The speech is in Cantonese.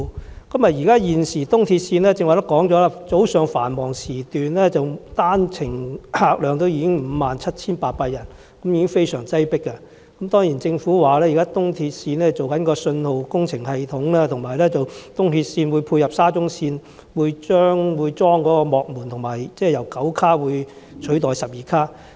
正如剛才提及，現時東鐵線早上繁忙時段單程客量已經達57800人，十分擠迫，政府說現時東鐵線正在更新信號系統，以及為配合沙中線安裝幕門，並且列車會由9節車廂取代之前的12節車廂。